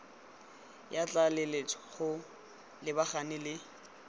ya tlaleletso go lebagana le